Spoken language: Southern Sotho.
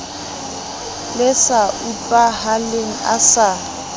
le sa utlwahaleng a sa